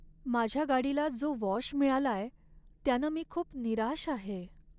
माझ्या गाडीला जो वॉश मिळालाय, त्यानं मी खूप निराश आहे.